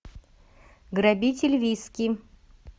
грабитель виски